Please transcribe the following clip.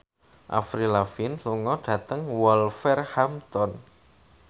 Avril Lavigne lunga dhateng Wolverhampton